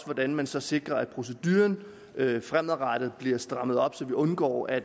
hvordan man så sikrer at procedurerne fremadrettet bliver strammet op så vi undgår at